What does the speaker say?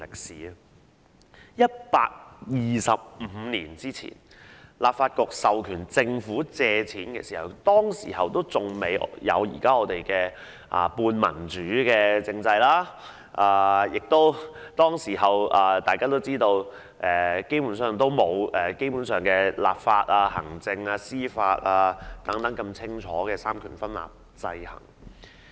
在125年前當立法局授權政府借款時，還未有現時的半民主政制，而大家亦知道當時基本上並無清晰的立法、行政和司法三權分立，互相制衡。